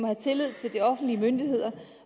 have tillid til de offentlige myndigheder